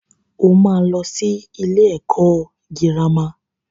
Ó máa lọ sí ilé ẹ̀kọ́ girama.